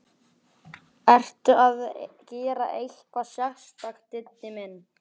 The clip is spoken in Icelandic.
Ertu að gera eitthvað sérstakt, Diddi minn.